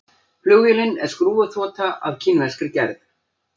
Flugvélin er skrúfuþota af kínverskri gerð